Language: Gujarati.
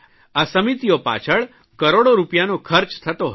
આ સમિતિઓ પાછળ કરોડો રૂપિયાનો ખર્ચ થતો હતો